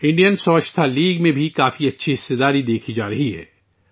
Indian Swachhata league میں بھی بہت اچھی شرکت دیکھنے کو مل رہی ہے